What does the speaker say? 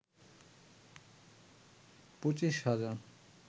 পঁচিশ হাজার